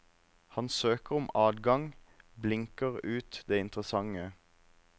Han søker om adgang, blinker ut det interessante.